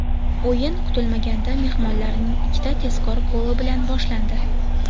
O‘yin kutilmaganda mehmonlarning ikkita tezkor goli bilan boshlandi.